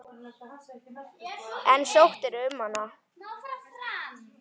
En sóttirðu um hana?